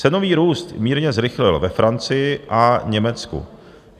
Cenový růst mírně zrychlil ve Francii a Německu.